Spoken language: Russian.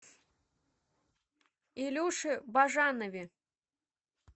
илюше бажанове